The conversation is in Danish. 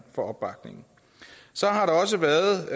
for opbakningen så har der også været